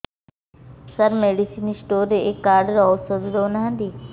ସାର medicine store ରେ ଏଇ card ରେ ଔଷଧ ଦଉନାହାନ୍ତି